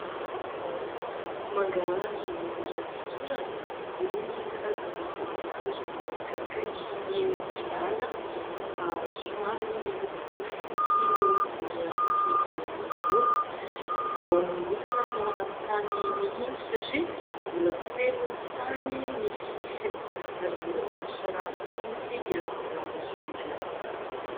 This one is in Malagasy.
Mangahazo iray fotorana, irony karazana mangahazo manakaikikaiky ny oviala, somary miloko fotsy ny hodiny avy ety ivelany irony, vao nongotana tao anaty tany mihitsy satria : mbola feno tany ny sisiny ary mbola tsy nosarahana mihitsy ireo mangahazo ireo.